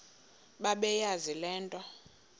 bebeyazi le nto